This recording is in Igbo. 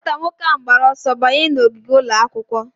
Nwata nwoke ahụ gbara ọsọ banye n'ogige ụlọ akwụkwọ.